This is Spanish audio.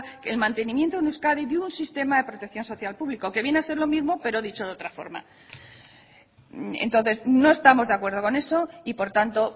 en mantenimiento en euskadi de un sistema de protección social público que viene a ser lo mismo pero dicho de otraforma entonces no estamos de acuerdo con eso y por tanto